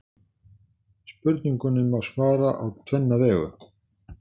Spurningunni má svara á tvenna vegu.